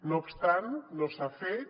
no obstant no s’ha fet